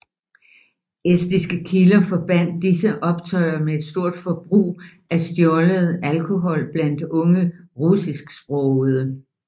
Estiske kilder forbandt disse optøjer med et stort forbrug af stjålet alkohol blandt unge russisksprogede